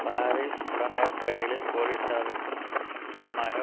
Paris புறநகர்ப்பகுதிகளில் போலீசாருக்கும் முக்கியமாக